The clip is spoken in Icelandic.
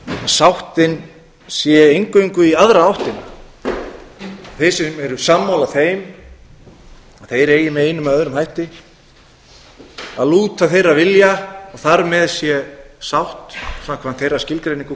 sáttin sé eingöngu í aðra áttina þeir sem eru sammála þeim eigi með einum eða öðrum hætti að lúta þeirra vilja og þar með sé sátt samkvæmt þeirra skilgreiningu